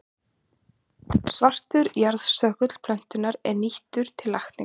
Svartur jarðstöngull plöntunnar er nýttur til lækninga.